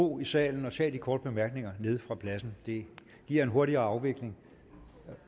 ro i salen at tage de korte bemærkninger nede fra pladsen det giver en hurtigere afvikling